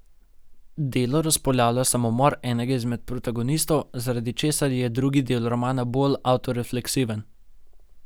Delo razpolavlja samomor enega izmed protagonistov, zaradi česar je drugi del romana bolj avtorefleksiven.